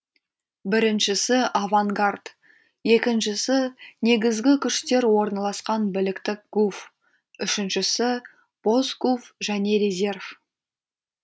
біріншісі авангард екіншісі негізгі күштер орналасқан біліктік гуф үшіншісі бос гуф және резерв